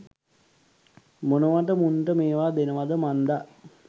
මොනවට මුන්ට මේවා දෙනවද මන්දා.